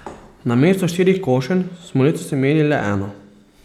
Namesto štirih košenj smo letos imeli le eno.